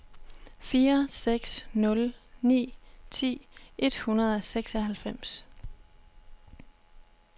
fire seks nul ni ti et hundrede og seksoghalvfems